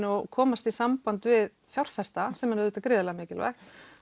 og komast í samband við fjárfesta sem er auðvitað gríðarlega mikilvægt